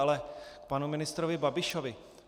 Ale k panu ministrovi Babišovi.